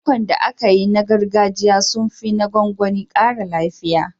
Lemukan da ake yi na gargajiya sun fi na gwangwani ƙara lafiya.